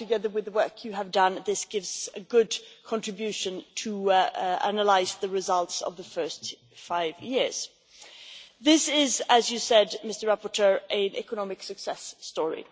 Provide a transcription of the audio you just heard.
and together with the work you have done, this gives a good contribution to analyse the results of the first five years. This is, as the rapporteur said, an economic success story.